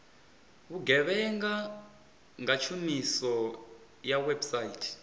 vhugevhenga nga tshumiso ya website